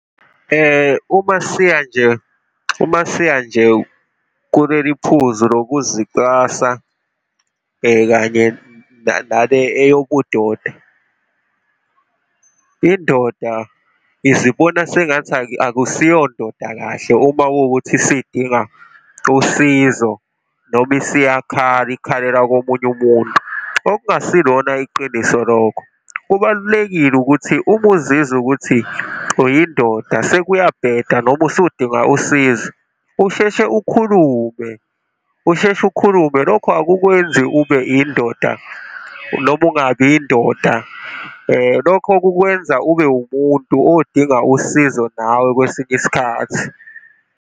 Uma siya nje, uma siya nje kuleli phuzu ngokuzicwasa kanye nale eyobudoda. Indoda izibona sengathi akusiyondoda kahle uma kuwukuthi isidinga usizo noma isiyakhala, ikhalela komunye umuntu, okungasilona iqiniso lokho. Kubalulekile ukuthi uma uzizwa ukuthi uyindoda, sekuyabheda noma usudinga usizo, usheshe ukhulume, usheshe ukhulume. Lokho ukukwenzi ube yindoda noma ungabi indoda. Lokho kukwenza ube umuntu odinga usizo nawe, kwesinye isikhathi.